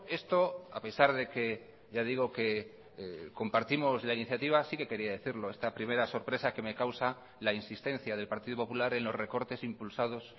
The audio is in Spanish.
esto a pesar de que ya digo que compartimos la iniciativa sí que quería decirlo esta primera sorpresa que me causa la insistencia del partido popular en los recortes impulsados